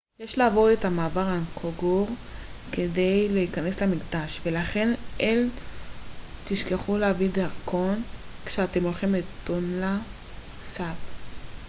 יש לעבור את מעבר אנגקור כדי להיכנס למקדש ולכן אל תשכחו להביא את הדרכון כשאתם הולכים לטונלה סאפ